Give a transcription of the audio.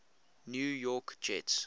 new york jets